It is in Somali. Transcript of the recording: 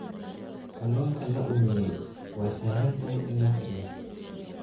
Kalluunka la uumiyey waa sahlan tahay in la kariyo.